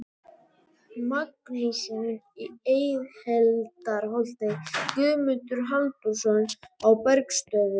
Magnússon í Eyhildarholti, Guðmundur Halldórsson á Bergsstöðum